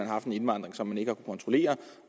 har haft en indvandring som man ikke kontrollere